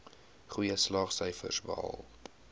goeie slaagsyfers behaal